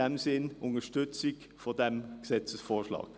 In diesem Sinn unterstützen wir diesen Gesetzesvorschlag.